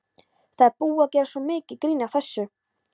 Það er búið að gera svo mikið grín að þessu.